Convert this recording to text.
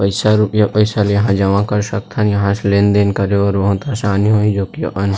पईसा रूपिया पईसा ल इहाँ जमा कर सकथन यहाँ से लेन-देन करे बर बहुत परेशानी होही जो की अपन--